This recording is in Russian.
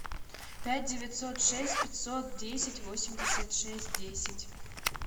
пять девятьсот шесть пятьсот десять восемьдесят шесть десять